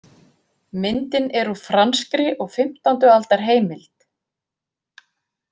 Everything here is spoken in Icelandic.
Myndin er úr franskri og fimmtándi aldar heimild.